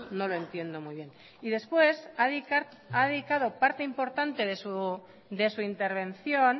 no lo entiendo muy bien y después ha dedicado parte importante de su intervención